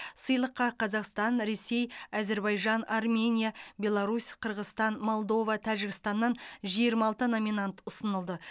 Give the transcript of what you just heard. сыйлыққа қазақстан ресей әзербайжан армения беларусь қырғызстан молдова тәжікстаннан жиырма алты номинант ұсынылды